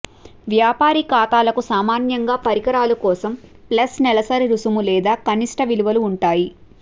వ్యాపారి ఖాతాలకు సామాన్యంగా పరికరాల కోసం ప్లస్ నెలసరి రుసుము లేదా కనిష్ట విలువలు ఉంటాయి